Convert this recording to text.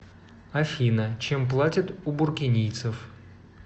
афина чем платят у буркинийцев